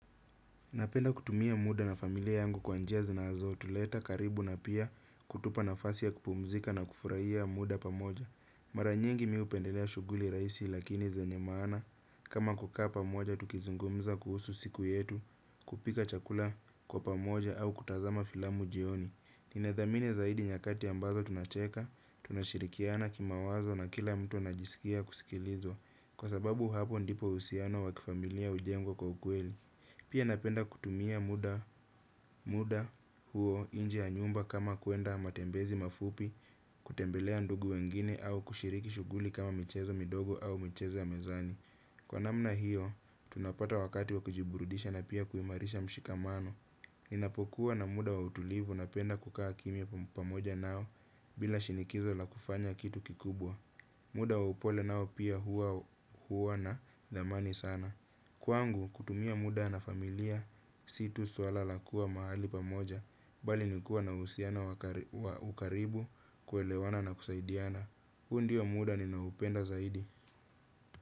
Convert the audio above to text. Napenda kutumia muda na familia yangu kwa njia zinazo tuleta karibu na pia kutupa nafasi ya kupumzika na kufurahia muda pamoja. Mara nyingi mi upendelea shuguli raisi lakini zenye maana kama kukaa pamoja tukizungumza kuhusu siku yetu kupika chakula kwa pamoja au kutazama filamu jioni. Ninadhamini zaidi nyakati ambazo tunacheka, tunashirikiana kimawazo na kila mtu najisikia kusikilizwa kwa sababu hapo ndipo usiano wakifamilia ujengwa kwa ukweli. Pia napenda kutumia muda huo inje ya nyumba kama kuenda matembezi mafupi, kutembelea ndugu wengine au kushiriki shuguli kama mchezo midogo au michezo ya mezani. Kwa namna hiyo, tunapata wakati wa kujiburudisha na pia kuimarisha mshikamano. Ninapokuwa na muda wa utulivu napenda kukaa kimia pamoja nao bila shinikizo la kufanya kitu kikubwa. Muda wa upole nao pia huo nadamani sana. Kwangu, kutumia muda na familia, si tusuala la kua mahali pamoja, bali nikuwa na usiano wa ukaribu, kuelewana na kusaidiana. Huu ndiyo muda ninaupenda zaidi.